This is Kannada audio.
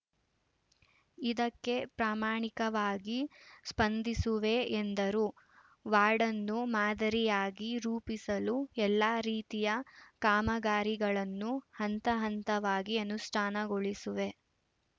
ಇದಕ್ಕೆ ಪ್ರಮಾಣಿಕವಾಗಿ ಸ್ಪಂದಿಸುವೆ ಎಂದರು ವಾರ್ಡ್‌ನ್ನು ಮಾದರಿಯಾಗಿ ರೂಪಿಸಲು ಎಲ್ಲಾ ರೀತಿಯ ಕಾಮಗಾರಿಗಳನ್ನು ಹಂತ ಹಂತವಾಗಿ ಅನುಷ್ಠಾನಗೊಳಿಸುವೆ